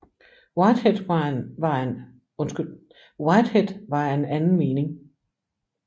Whitehead var af en anden mening